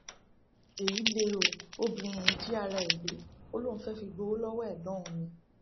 èyí lẹ o obìnrin yìí jí ara ẹ gbé ó lóun fẹẹ fi gbowó lọwọ ẹgbọn òun ni